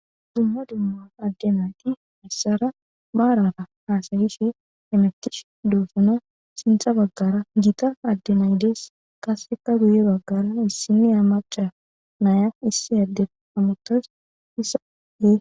dumma dumma adde nayti issara maarara hasayishe hemetishe doosona sintha baggara gita addenay dees qaseka guye baggara issinniya amaca naya issi adden amutas isade